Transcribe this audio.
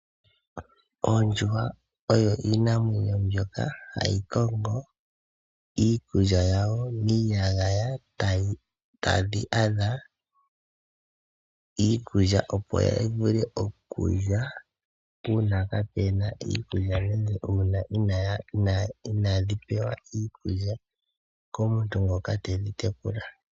Oondjuhwa oyo oshinamwenyo mbyoka hayi kongo iikulya yawo miiyagaya una inadhi pewa iikulya komuntu ngoka tedhi tekula